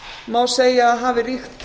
má segja að hafi ríkt